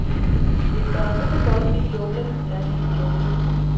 Hvis der er brug for dem i junglen, er de i junglen.